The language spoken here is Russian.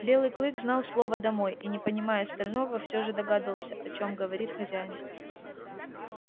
белый клык знал слово домой и не понимая остального всё же догадался о чём говорит хозяин